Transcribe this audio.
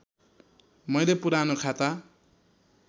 मैले पुरानो खाता